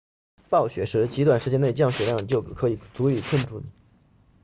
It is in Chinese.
暴雪时极短时间内降雪量就可以足以困住你